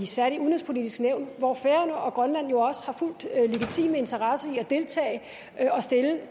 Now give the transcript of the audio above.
særligt i udenrigspolitisk nævn hvor også færøerne og grønland jo har fuldt legitime interesser i at deltage